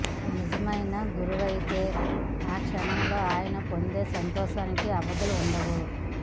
నిజమైన గురువైతే ఆ క్షణంలో ఆయన పొందే సంతోషానికి అవధులు ఉండవు